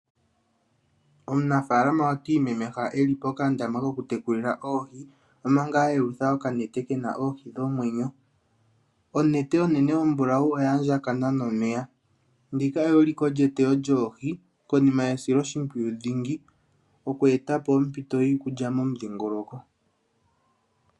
Omunafaalama otiimemeha eli pokandama kokutekulila oohi omanga ayelutha okanete kena oohi dhomwenyo, onete onene ombulawu oyaandjakana nomeya ndika eyuliko lyeteyo lyoohi konima yesiloshimpwiyu dhingi okweetapo ompito yiikulya momudhingoloko.